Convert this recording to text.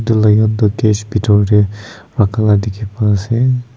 etu lion tu cage bethor te rakhiala dekhi ase.